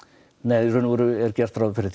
nei í rauninni er gert ráð fyrir